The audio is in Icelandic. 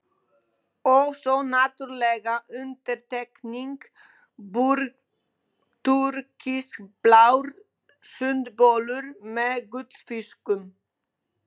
Og svo náttúrlega undantekningin, TÚRKISBLÁR SUNDBOLUR MEÐ GULLFISKUM.